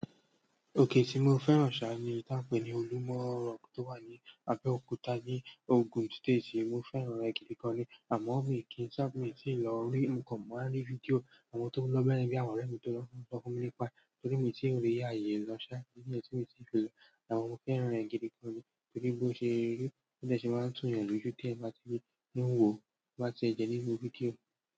Òkè tí mo fẹ́ràn ṣáá ni èyí táà ń pè ní Olúmọ Rock tó wà ní Abẹ́òkúta ní Ogun State. Mo fẹ́ràn rẹ̀ gidi gan-an ni, àmọ́ mi kì í ṣá, miì tíì lọ rí, mo kàn máa ń rí fídíò àwọn tó lọ bẹ́yẹn bí àwọn ọ̀rẹ́ mi tó lọ ló sọ fún mi nípa ẹ̀. Torí moò tíì rí ààyè lọ ṣá, kìn ni ẹ́ tí mo ti rí lọ àmọ́ mo fẹ́ràn rẹ̀ gidi gan ni. Torí bó ṣe ri. Bó dẹ̀ ṣe máa ń tù'yàn lójú díẹ̀ tí n bá ti ń wòó, tó bá tiẹ̀ jẹ́ nínú fídíò.